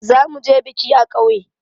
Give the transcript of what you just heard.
Za mu je biki a ƙauye.